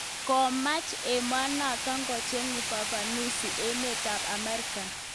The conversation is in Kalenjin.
Komaach emenoto kocher ufafanusi emet ab Ameriga